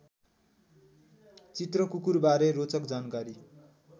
चित्रकुकुरबारे रोचक जानकारी